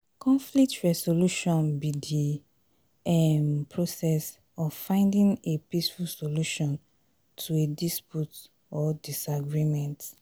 conflict resolution be di um be di um process of finding a peaceful solution to a dispute or disagreement.